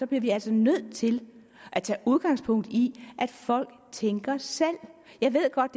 bliver vi altså nødt til at tage udgangspunkt i at folk tænker selv jeg ved godt